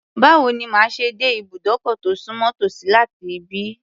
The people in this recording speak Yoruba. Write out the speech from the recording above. Báwo ni màá ṣe dé ìbùdókọ̀ tó sùnmọ́ tòsí láti ibí?